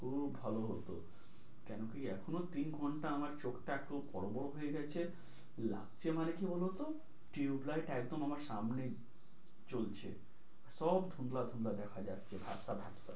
খুব ভালো হতো, কেন কি এখনো তিন ঘন্টা আমার চোখটা একটু বড়ো, বড়ো হয়ে গেছে লাগছে মানে কি বলোতো tube light একদম আমার সামনে জ্বলছে সব দেখা যাচ্ছে ঝাপসা ঝাপসা।